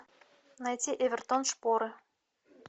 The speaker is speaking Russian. найти эвертон шпоры